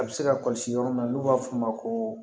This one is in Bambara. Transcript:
A bɛ se ka kɔlɔsi yɔrɔ min na n'u b'a f'o ma ko